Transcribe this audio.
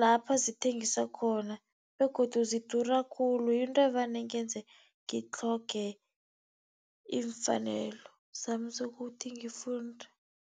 lapha zithengiswa khona begodu zidura khulu. Yinto evane ingenze ngitlhoge iimfanelo zami zokuthi ngifunde.